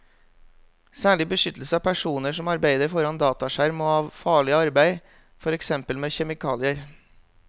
Særlig beskyttelse av personer som arbeider foran dataskjerm og av farlig arbeid, for eksempel med kjemikalier.